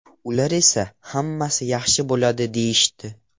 Ular esa ‘hammasi yaxshi bo‘ladi’ deyishdi.